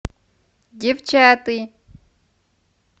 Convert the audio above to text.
девчата